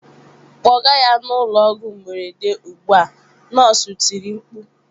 "Kpọga ya n'ụlọ ọgwụ mberede ugbu a" nọọsụ tiri mkpu